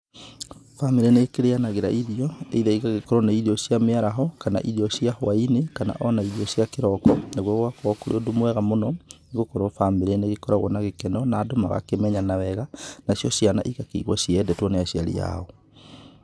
Bamĩrĩ nĩ ikĩrĩanagĩra irio either igakorwo ni irio cia mĩaraho kana irio cia hwa-inĩ kana ona irio cia kĩroko. Naguo gũgakorwo kũrĩ ũndũ mwega mũno, nĩ gũkorwo bamĩrĩ nĩ ikoragwo na gĩkeno na andũ magakĩmenyana wega. Nacio ciana igakĩigua ciendetwo nĩ aciari ao.